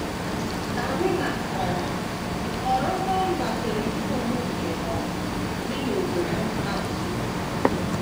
Karina um họọrọ nọmba telifon nke um dị n’obodo nta nso.